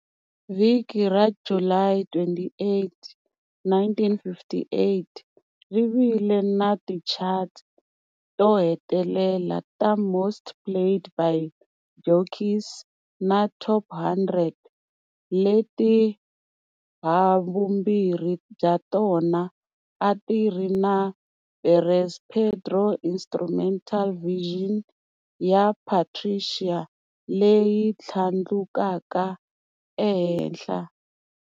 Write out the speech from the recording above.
Vhiki ra July 28, 1958, ri vile na tichati to hetelela"ta Most Played by Jockeys" na"Top 100", leti havumbirhi bya tona a ti ri na Perez Prado's instrumental version ya" Patricia" leyi tlhandlukaka ehenhla.